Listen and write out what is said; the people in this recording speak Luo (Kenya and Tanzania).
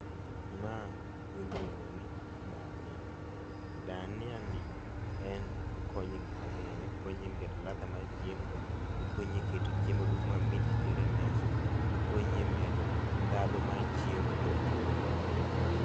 Ma iluongo ni dhania. Dhania ni en okonyo e gik mangeny, okonyo e keto ladha mar chiemo, okonyi keto chiemo dung' mamit kitere e mesa, okonyi e medo ndhandu mar chiemo mondo chiemo obed mamit